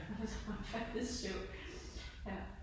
Og så var han faldet i søvn. Ja